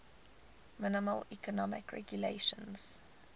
minimal economic regulations